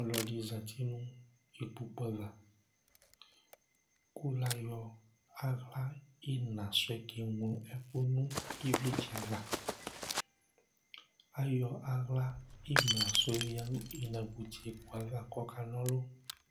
ɔlò ɛdi zati no ikpoku ava kò la yɔ ala ina sò yɛ ke ŋlo ɛkò no ivlitsɛ ava ayɔ ala imla sò yɛ oya no ilagbotse kò ava k'ɔka n'ɔlu